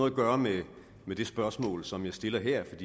at gøre med det spørgsmål som jeg stiller her